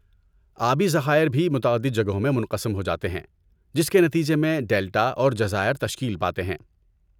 آبی ذخائر بھی متعدد جگہوں میں منقسم ہو جاتے ہیں جس کے نتیجے میں ڈیلٹا اور جزائر تشکیل پاتے ہیں۔